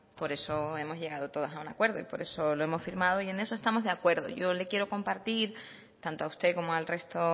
por eso hemos llegado todos a un acuerdo y por eso lo hemos firmado y en eso estamos de acuerdo yo le quiero compartir tanto a usted como al resto